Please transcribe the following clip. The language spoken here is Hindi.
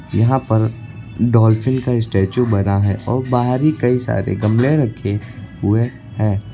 यहाँ पर डॉलफिन का स्टेचू बना है और बाहर ही कई सारे गमले रखे हुए हैं।